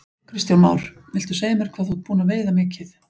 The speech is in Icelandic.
Kristján Már: Viltu segja mér hvað þú ert búinn að veiða mikið?